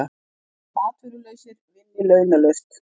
Atvinnulausir vinni launalaust